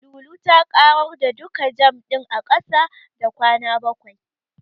Lulu ta ƙarar da duka jam ɗin a ƙasa da kwana bakwai.